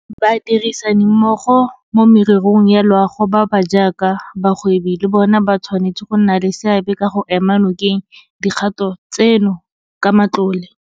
Badirisanimmogo mo mererong ya loago ba ba jaaka bagwebi le bona ba tshwanetse go nna le seabe ka go ema nokeng dikgato tseno ka matlole.